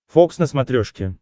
фокс на смотрешке